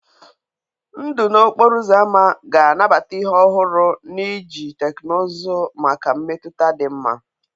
Ndụ n'okporo ámá ga-anabata ihe ọhụrụ na iji teknụzụ maka mmetụta dị mma.